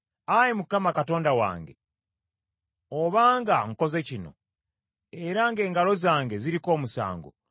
Ayi Mukama , Katonda wange, obanga nkoze kino, era ng’engalo zange ziriko omusango,